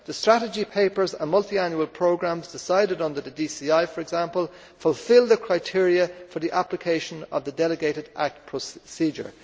The strategy papers are multiannual programmes, decided under the DCI for example, which fulfil the criteria for the application of the delegated act procedure.